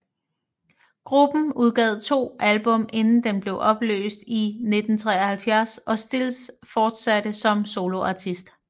Gruppen udgav to album inden den blev opløst i 1973 og Stills fortsatte som soloartist